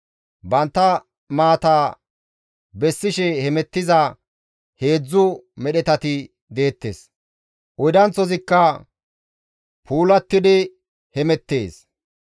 «Bantta maata bessishe hemettiza, heedzdzu medhetati deettes; oydanththozikka puulattidi hemettees.